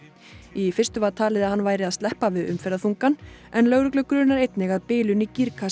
í fyrstu var talið að hann væri að sleppa við umferðarþungann en lögreglu grunar einnig að bilun í